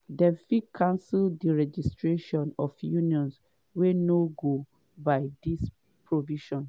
dem fit cancel di registration of unions wey no go by dis provision.